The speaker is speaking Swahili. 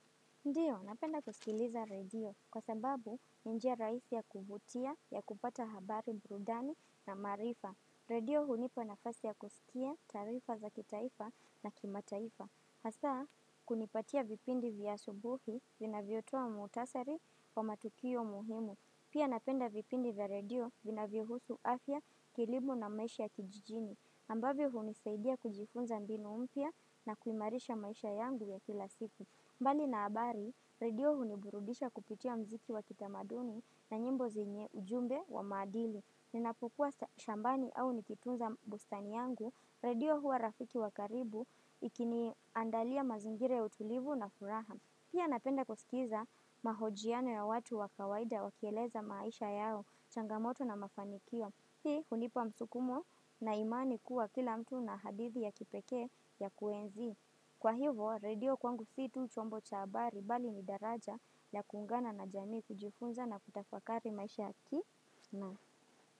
Ndiyo, napenda kusikiliza redio kwa sababu ni njia raisi ya kuvutia ya kupata habari burudani na maarifa. Redio hunipa nafasi ya kusikia taarifa za kitaifa na kimataifa. Hasa, kunipatia vipindi vya asubuhi vinavyotoa muhtasari wa matukio muhimu. Pia napenda vipindi vya redio vinavyohusu afya kilimo na maisha ya kijijini. Ambavyo hunisaidia kujifunza mbinu mpya na kuimarisha maisha yangu ya kila siku. Mbali na habari, redio huniburudisha kupitia mziki wa kitamaduni na nyimbo zenye ujumbe wa maadili. Ninapokua shambani au nikitunza bustani yangu, redio huwa rafiki wa karibu ikiniandalia mazingira ya utulivu na furaha. Pia napenda kusikiza mahojiano ya watu wa kawaida wakieleza maisha yao changamoto na mafanikio. Hii hunipa msukumo na imani kuwa kila mtu na hadithi ya kipekee ya kuenzi. Kwa hivo, redio kwangu si tu chombo cha habari bali ni daraja ya kuungana na jamii kujifunza na kutafakari maisha ya ki.